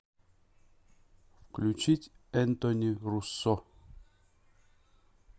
включить энтони руссо